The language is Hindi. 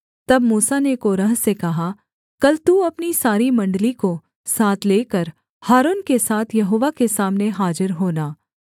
तब मूसा ने कोरह से कहा कल तू अपनी सारी मण्डली को साथ लेकर हारून के साथ यहोवा के सामने हाजिर होना